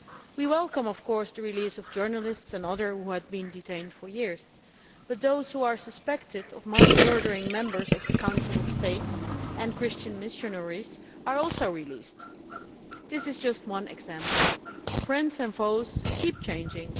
We welcome, of course, the release of journalists and others who have been detained for years, but those who are suspected of murdering members of the Council of State and Christian missionaries are also being released. This is just one example. Friends and foes keep changing.